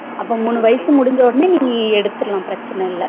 அப்ப மூணு வயசு முடுஞ்சவுடனே நீ எடுத்துரலாம் பிரச்சனை இல்ல